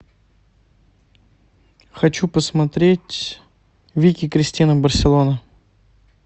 хочу посмотреть вики кристина барселона